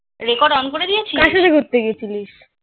record on করে দিয়েছিস?